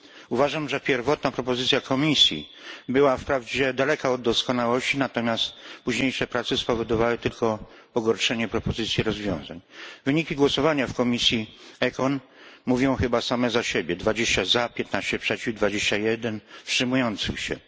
Uważam, że pierwotna propozycja Komisji była daleka od doskonałości, a późniejsze prace spowodowały tylko pogorszenie propozycji rozwiązań. Wyniki głosowania w komisji ECON mówią chyba same za siebie 20 głosów za, 15 przeciw, 21 wstrzymujących się.